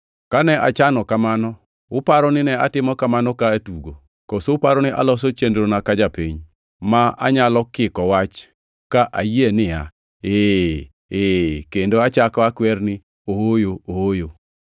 Kane achano kamano, uparo nine atimo kamano ka atugo? Koso uparo ni aloso chenrona ka japiny, ma anyalo kiko wach ka ayie niya, “Ee, Ee” kendo achako akwer ni “Ooyo, Ooyo?”